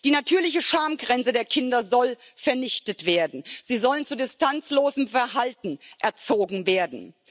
Die natürliche Schamgrenze der Kinder soll vernichtet werden, sie sollen zu distanzlosem Verhalten erzogen werden.